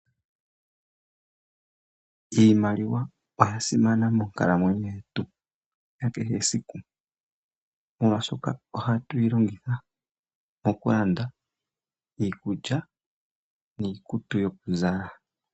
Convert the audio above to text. Iimaliwa oyasimana monkalamwenyo yomuntu yakehe siku. Molwaashoka ohatuyilongitha mokulanda iikulya niikutu yokuzala.